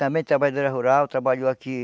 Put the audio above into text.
Também trabalhadora rural, trabalhou aqui.